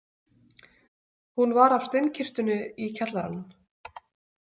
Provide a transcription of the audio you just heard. Hún var af steinkistunni í kjallaranum.